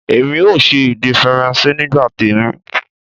Èmi ò ṣe èdè Faransé nígbà tèmi